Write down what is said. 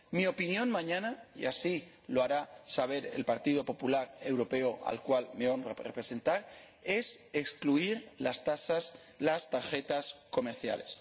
Mi opinión mañana, y así lo hará saber el Partido Popular Europeo, al cual me honra representar, será excluir las tarjetas comerciales.